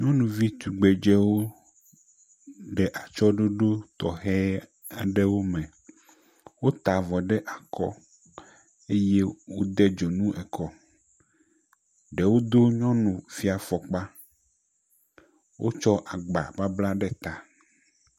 Nyɔnuvi tugbedewo le atsɔɖoɖo tɔxe aɖewo me. Wota avɔ ɖe akɔ eye wod edzonuwo ekɔ. Ɖewo do nyɔnufia fɔkpa. Wotsɔ agba babla ɖe ta.